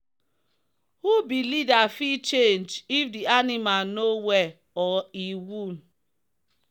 who be leader fit change if the animal no well or e wound.